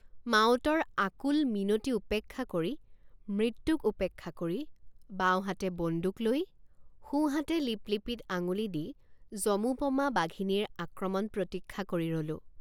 মাউতৰ আকুল মিনতি উপেক্ষা কৰিমৃত্যুক উপেক্ষা কৰি বাওঁহাতে বন্দুক লৈ সোঁহাতে লিপলিপিত আঙুলি দি যমোপমা বাঘিনীৰ আক্ৰমণ প্ৰতীক্ষা কৰি ৰলোঁ।